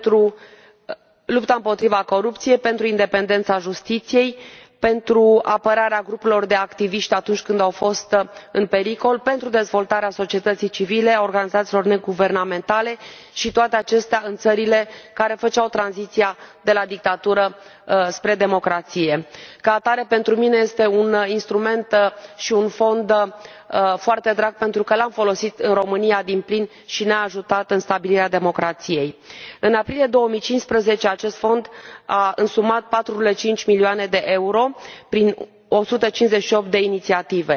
Domnule președinte, fondul European pentru democrație a fost folosit de a lungul anilor pentru lupta împotriva corupției, pentru independența justiției, pentru apărarea grupurilor de activiști atunci când au fost în pericol, pentru dezvoltarea societății civile, a organizațiilor neguvernamentale și, toate acestea, în țările care făceau tranziția de la dictatură spre democrație. Ca atare, pentru mine este un instrument și un fond foarte drag pentru că l am folosit în România din plin și ne a ajutat în stabilirea democrației. În aprilie 2015, acest fond a însumat 4,5 milioane de euro prin 158 de inițiative.